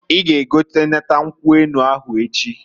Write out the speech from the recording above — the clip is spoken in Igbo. I ga egotanata nkwu enu ahụ echiǃ